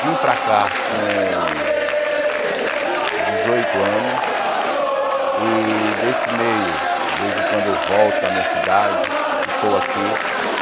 Vim para cá com dezoito anos e desse meio, de vez em quando eu volto a minha cidade e estou aqui.